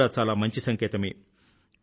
ఇది కూడా చాలామంచి సంకేతమే